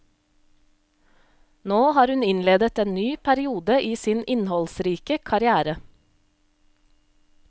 Nå har hun innledet en ny periode i sin innholdsrike karriere.